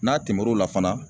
N'a tɛmɛr'o la fana